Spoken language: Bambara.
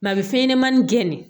a bɛ fɛn ɲɛnɛmani gɛnni